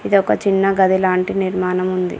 ఇది ఒక చిన్న గది లాంటి నిర్మాణం ఉంది.